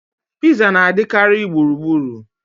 Piza na-adịkarị gburugburu